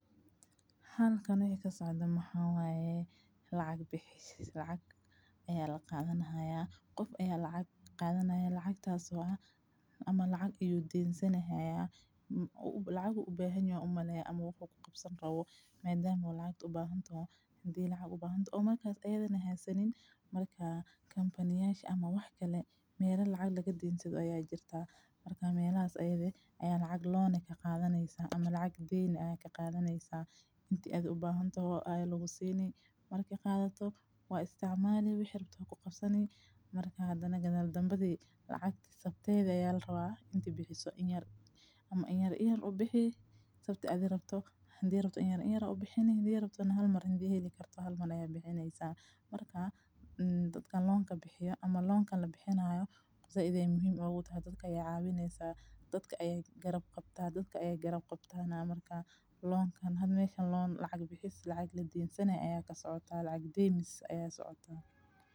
Halkan ay ka socda maxa waye. Lacag bixis lacag ayaa la qaadana haya. Qof ayaa lacag qaadana haya lacag taasoo ah ama lacag iyuu diinsan hayaa. U u lacagu u baahan yoo ummaynaaya ama wakhtigu qabsan rawo maaldaan muu lacag u baahantanaa? Hadi lacag u baahantoo? Markaas aydana hay sannin markaa kampaniyaashi ama wax kale meelo lacag laga dhiintsanayo ayaa jirta. Markaa meelaas ayeeyay ayaan lacag loan ka qaadanyiisa ama lacag deyni ayaa ka qaadanyiisa intii aad u baahantaho ay lagu siiney. Markii qaadato waa isticmaalaya wixii rabto ku qabsanyi markaa hadana gadhal dambadi lacag sabteeda yaalrawa intii bixiso ciyaar ama ciyaar ciyaar u bixi sabti cad rabto, handii rabto inay ciyaaro ciyaaro u bixini. Handii rabto hal mar hindi heli karto hal mar ayaa bixinaysa markaa mm dadka loan ka bixiyo ama loan ka la bixinayo. zaa-idee muhiim ugu yaa dadka ay caawineysa. Dadka ay garab qabtaa dadka ayay garab qabtayna markaa loan kan had meeshan loan lacag bixis lacag la dhiinsanay ayaa ka socota lacag deynis ayaa socota.